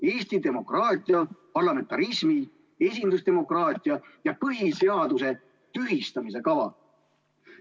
Eesti demokraatia, parlamentarismi, esindusdemokraatia ja põhiseaduse tühistamise kava.